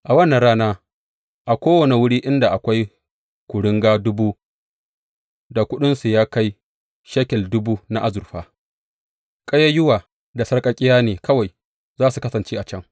A wannan rana, a kowane wuri inda akwai kuringa dubu da kuɗinsu ya kai shekel dubu na azurfa, ƙayayyuwa da sarƙaƙƙiya ne kawai za su kasance a can.